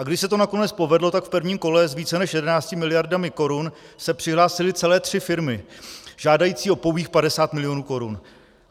A když se to nakonec povedlo, tak v prvním kole s více než 11 miliardami korun se přihlásily celé tři firmy žádající o pouhých 50 milionů korun.